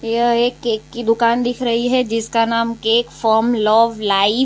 यह एक केक की दुकान दिख रही है जिसका नाम केक फर्म लव लाइव --